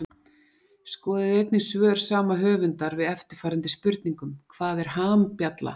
Skoðið einnig svör sama höfundar við eftirfarandi spurningum Hvað er hambjalla?